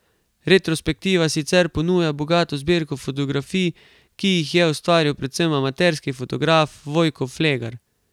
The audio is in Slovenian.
Retrospektiva sicer ponuja bogato zbirko fotografij, ki jih je ustvaril predvsem amaterski fotograf Vojko Flegar.